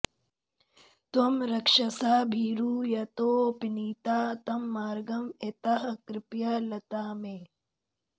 त्वं रक्षसा भीरु यतोऽपनीता तं मार्गं एताः कृपया लता मे